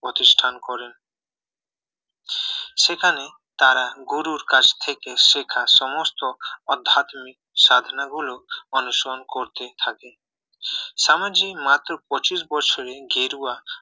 প্রতিষ্ঠান করেন সেখানে তারা গুরুর কাছ থেকে শেখা সমস্ত আধ্যাত্মিক সাধনা গুলো অনুসরণ করতে থাকে সমাজে মাত্র পঁচিশ বছরে গেরুয়া